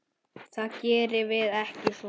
Það gerum við ekki svona.